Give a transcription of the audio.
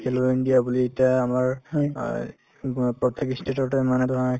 held india বুলি এতিয়া আমাৰ অ উব অ প্ৰত্যেক ই state তে মানে ধৰা